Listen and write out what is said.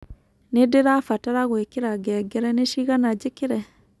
nĩndĩrabatara gũĩkïra ngengere ni cĩgana njĩkĩre